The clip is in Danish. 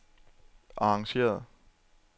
arrangeret